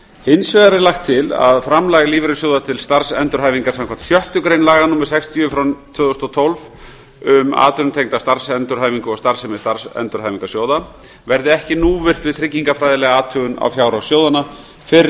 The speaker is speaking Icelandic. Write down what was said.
hins vegar er lagt til að framlag lífeyrissjóða til starfsendurhæfingar samkvæmt sjöttu grein laga númer sextíu tvö þúsund og tólf um atvinnutengda starfsendurhæfingu og starfsemi endurhæfingarsjóða verði ekki núvirt við tryggingafræðilega athugun á fjárhag sjóðanna fyrr